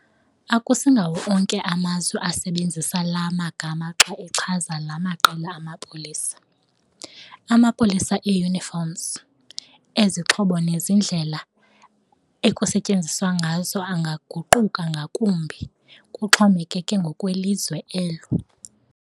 Akusingawo onke amazwe asebenzisa laa magama xa echaza laa maqela amapolisa. Amapolisa e-uniforms, ezixhobo nezendlela ekusetyenzwa ngazo angaguquka ngakumbi, kuxhomekeke ngokwelizwe elo.